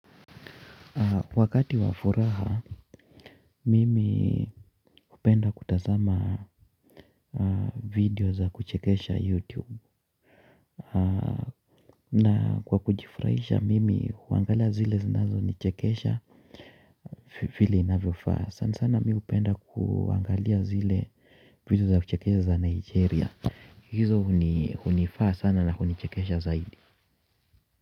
Wakati wa furaha, mimi hupenda kutazama video za kuchekesha youtube. Na kwa kujifurahisha, mimi huangalia zile zinazo ni chekesha vile inavyo faa sana sana mi hupenda kuangalia zile vidio za kuchekesha za Nigeria. Hizo hunifaa sana na hunichekesha zaidi.